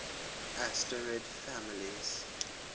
asterid families